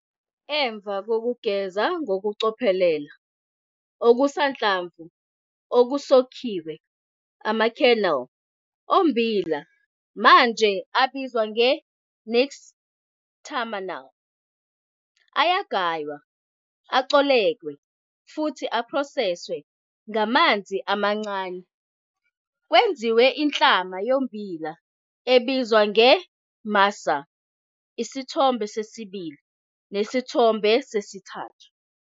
Emva kokugeza ngokucophelela okusanhlamvu okusokhiwe, ama-kernel ommbila manje abizwa nge-nixtamal, ayagaywa, acoleke futhi aphroseswe ngamanzi amancane kwenziwe inhlama yommbila ebizwa nge-masa, Isithombe 2 neSithombe 3.